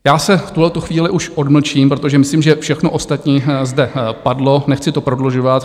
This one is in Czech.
Já se v tuto chvíli už odmlčím, protože myslím, že všechno ostatní zde padlo, nechci to prodlužovat.